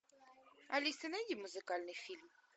алиса найди музыкальный фильм